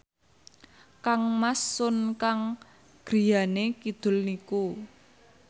kangmas Sun Kang griyane kidul niku